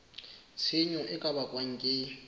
tshenyo e ka bakwang ke